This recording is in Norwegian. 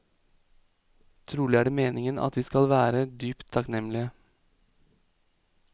Trolig er det meningen at vi skal være dypt takknemlige.